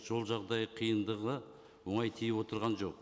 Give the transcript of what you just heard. жол жағдайы қиындығы оңай тиіп отырған жоқ